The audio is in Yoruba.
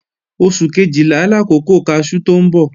Oṣù Kejìlá làkókò kaṣú tó ń bọ̀